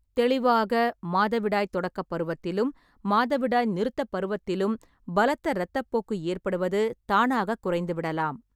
தெளிவாக, மாதவிடாய் தொடக்கப் பருவத்திலும் மாதவிடாய் நிறுத்தப் பருவத்திலும் பலத்த இரத்தப்போக்கு ஏற்படுவது தானாகக் குறைந்துவிடலாம்.